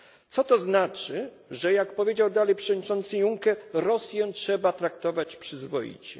Co to znaczy, że jak powiedział dalej przewodniczący Juncker, Rosjan trzeba traktować przyzwoicie?